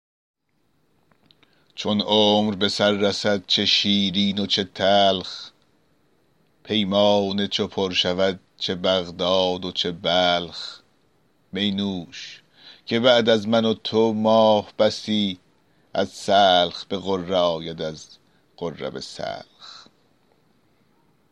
چون عمر به سر رسد چه شیرین و چه تلخ پیمانه چو پر شود چه بغداد و چه بلخ می نوش که بعد از من و تو ماه بسی از سلخ به غره آید از غره به سلخ